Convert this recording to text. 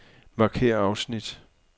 Markér afsnit.